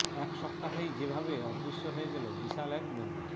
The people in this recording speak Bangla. এক সপ্তাহেই যেভাবে অদৃশ্য হয়ে গেল বিশাল এক নদী